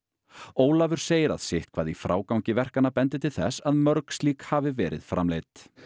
Ólafur segir að sitthvað í frágangi verkanna bendi til þess að mörg slík hafi verið framleidd